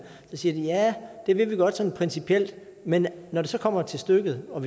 siger at det vil de godt sådan principielt men når det så kommer til stykket og